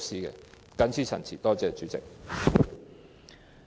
我謹此陳辭，多謝代理主席。